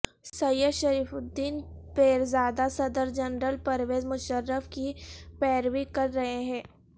سید Sharifuddin Pirzada صدر general Pervez Musharraf کی پیروی کر رہے ہیں